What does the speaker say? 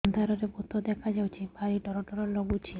ଅନ୍ଧାରରେ ଭୂତ ଦେଖା ଯାଉଛି ଭାରି ଡର ଡର ଲଗୁଛି